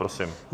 Prosím.